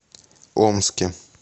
омске